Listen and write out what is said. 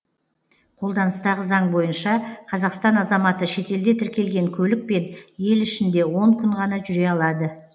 қолданыстағы заң бойынша қазақстан азаматы шетелде тіркелген көлікпен ел ішінде он күн ғана жүре алады